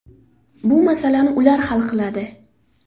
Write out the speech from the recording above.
Bu masalani ular hal qiladi.